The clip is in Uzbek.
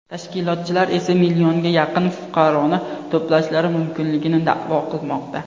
Tashkilotchilar esa millionga yaqin fuqaroni to‘plashlari mumkinligini da’vo qilmoqda.